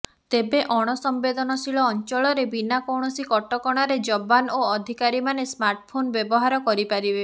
ତେବେ ଅଣ ସମ୍ବେଦନଶୀଳ ଅଞ୍ଚଳରେ ବିନା କୌଣସି କଟକଣାରେ ଯବାନ ଓ ଅଧିକାରୀମାନେ ସ୍ମାର୍ଟଫୋନ ବ୍ୟବହାର କରିପାରିବେ